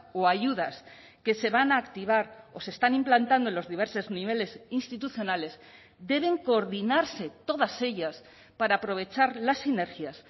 o ayudas que se van a activar o se están implantando en los diversos niveles institucionales deben coordinarse todas ellas para aprovechar las sinergias